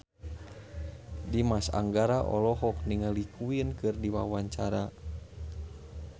Dimas Anggara olohok ningali Queen keur diwawancara